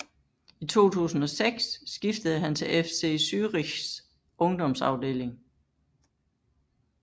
I 2006 skiftede han til FC Zürichs ungdomsafdeling